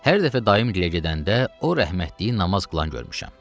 Hər dəfə dayım gilə gedəndə o rəhmətliyi namaz qılan görmüşəm.